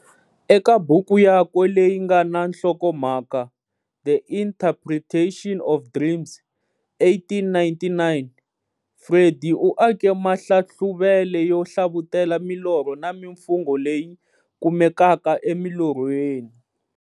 Eka buku yakwe leyi nga na nhlokomhaka"The Interpretation of Dreams" 1899, Freud u ake mahlahluvele yo hlavutela milorho na mimfungo leyi kumekaka e milorhweni.